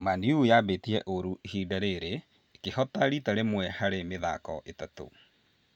Man-U yambĩtie ũũru ihinda rĩrĩ ĩkĩhotana rita rĩmwe harĩ mĩthako ĩtatũ